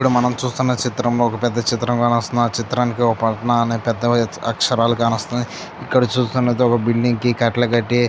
ఇక్కడ మనం చూస్తున్నాము చిత్రంలో ఒక పెద్ద చిత్రం కానమొస్తుంది. ఆ చిత్రానికి ఒక పక్కన పెద్ద పెద్ద అక్షరాలు కాన వస్తున్నాయి ఇక్కడ చూస్తున్నట్లయితే ఒక బిల్డింగ్ కి కట్టలు కట్టే--